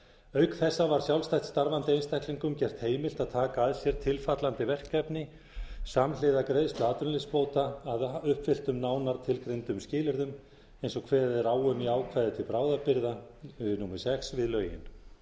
auk þess var sjálfstætt starfandi einstaklingum gert heimilt að taka að sér tilfallandi verkefni samhliða greiðslu atvinnuleysisbóta að uppfylltum nánar tilgreindum skilyrðum eins og kveðið er á um í ákvæði til bráðabirgða númer sex við lögin